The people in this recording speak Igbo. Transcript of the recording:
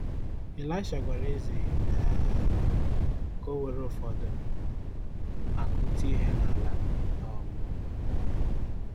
Ịlaịsha gwara eze um ka o were ụfọdụ akụ́ tie ha n’ala um.